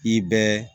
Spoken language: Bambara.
I bɛ